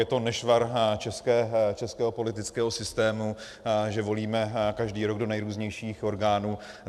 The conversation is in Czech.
Je to nešvar českého politického systému, že volíme každý rok do nejrůznějších orgánů.